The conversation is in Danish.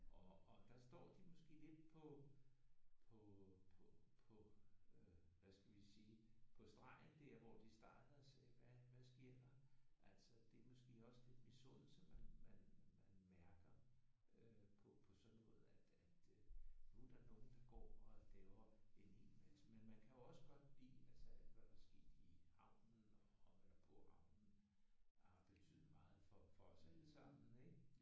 Og og der står de måske lidt på på på på på øh hvad skal vi sige på stregen der hvor de starter sagde hvad hvad sker der altså det er måske også lidt misundelse man man man mærker øh på på sådan noget at at nu er der nogen der går og laver en helt masse. Men man kan jo også godt lide altså alt hvad der er sket i havnen og eller på havnen har betydet meget for for os alle sammen ik?